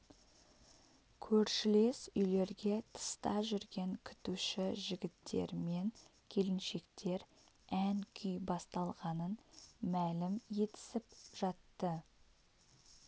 көршілес үйлерге тыста жүрген күтуші жігіттер мен келіншектер ән-күй басталғанын мәлім етісіп жатты